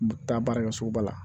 Taa baara kɛ sugu ba la